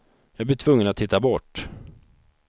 Jag blir tvungen att titta bort.